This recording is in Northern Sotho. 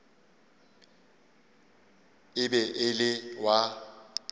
e be e le wa